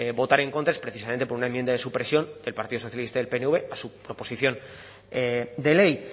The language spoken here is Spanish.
votar en contra es precisamente por una enmienda de supresión del partido socialista y el pnv a su proposición de ley